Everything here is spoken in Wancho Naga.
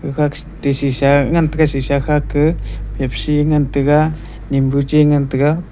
khake ti shisha ngan te shisha kha ke papsi ngan tega ninbu chu ngan tega.